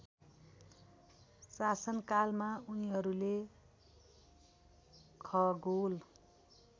शासनकालमा उनिहरूले खगोल